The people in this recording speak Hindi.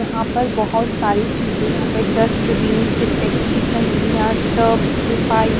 यहाँ पर बहुत सारी चीजें यहाँ पे डस्टबीन सिंटेक्स की टंकियाँ टब्स पाइ --